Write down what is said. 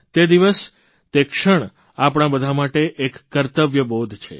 તે દિવસ તે ક્ષણ આપણા બધા માટે એક કર્તવ્ય બોધ છે